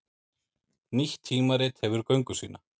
Nýtt tímarit hefur göngu sína